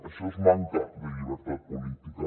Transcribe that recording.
això és manca de llibertat política